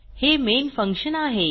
हे main function आहे